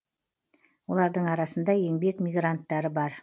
олардың арасында еңбек мигранттары бар